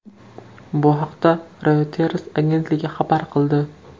Bu haqda Reuters agentligi xabar qildi .